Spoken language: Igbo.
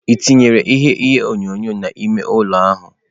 Ị tinyela ihe onyonyo n'ime ụlọ ahụ?